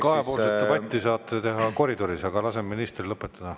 Kahepoolset debatti saate pidada koridoris, aga laseme ministril lõpetada.